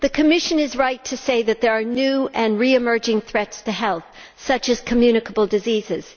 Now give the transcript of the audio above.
The Commission is right to say that there are new and re emerging threats to health, such as communicable diseases.